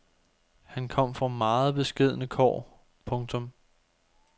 Han kom fra meget beskedne kår. punktum